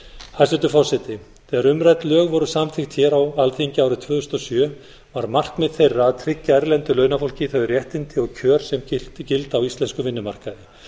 hæstvirtur forseti þegar umrædd lög voru samþykkt hér á alþingi árið tvö þúsund og sjö var markmið þeirra að tryggja erlendu launafólki þau réttindi og kjör sem gilda á íslenskum vinnumarkaði